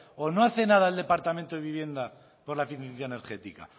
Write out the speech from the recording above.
o no hace nada el departamento de vivienda por la eficiencia energética